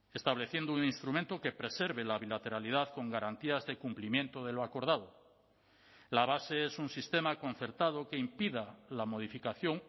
estableciendo un instrumento que preserve la bilateralidad con garantías de cumplimiento de lo acordado la base es un sistema concertado que impida la modificación